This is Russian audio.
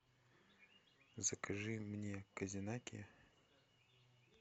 закажи мне козинаки